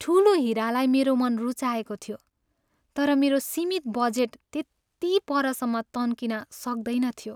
ठुलो हिरालाई मेरो मन रुचाएको थियो, तर मेरो सीमित बजेट त्यति परसम्म तन्किन सक्दैन थियो।